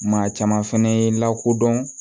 Maa caman fɛnɛ ye lakodɔn